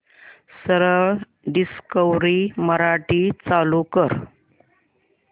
सरळ डिस्कवरी मराठी चालू कर